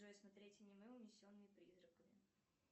джой смотреть аниме унесенные призраками